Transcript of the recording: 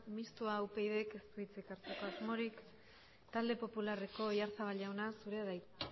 mistoa upyd k ez du hitzik hartzeko asmorik talde popularreko oyarzabal jauna zurea da hitza